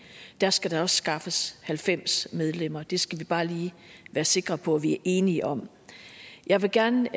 der skal der også skaffes halvfems medlemmer det skal vi bare lige være sikker på at vi er enige om jeg vil gerne